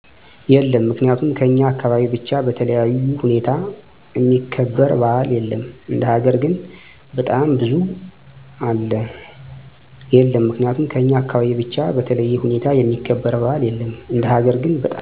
የለም ምክንያቱም ከኛ አካባቢ ብቻ በተለዬ ሁኔታ እሚከበር በዓል የለም እንደ ሀገር ግን በጣም ብዙ አለ